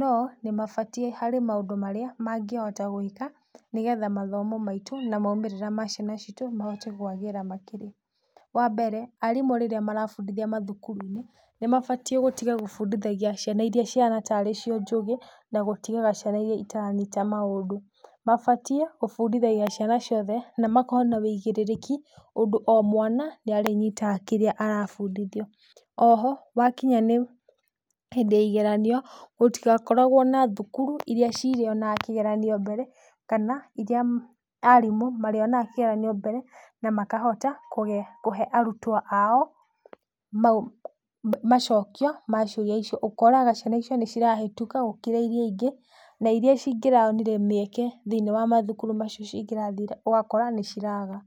no nĩmabatiĩ, harĩ maũndũ marĩa mangĩhota gwĩka nĩgetha mathomo maitũ na maumĩrĩra ma ciana ciitũ mahote kwagĩra makĩria. Wambere, arimũ rĩrĩa marabundithia mathukuru-inĩ nĩmabatiĩ gũtiga gũbundithagia ciana iria cihana tarĩ cio njũgĩ na gũtigaga ciana iria itaranyita maũndũ. Mabatiĩ gũbundithagĩa ciana ciothe na makoo na wĩigĩrĩrĩki ũndũ o mwana nĩ arĩnyitaga kĩrĩa arabundithio. Oho wakinya nĩ hĩndĩ ya igeranio, gũtigakoragwo na thukuru iria cirĩonaga kĩgeranio mbere kana iria arimũ marĩonaga kĩgeranio mbere na makahota kũge, kũhe arutwo ao macokio ma ciũria icio. Ũkoraga ciana icio nĩcirahĩtũka gũkĩra iria ingĩ, na iria cingĩronire mĩeke thĩiniĩ wa mathukuru macio cingĩrathire ũgakora nĩciraga.